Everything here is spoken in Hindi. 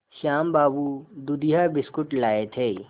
श्याम बाबू दूधिया बिस्कुट लाए थे